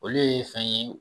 Olu ye fɛn ye.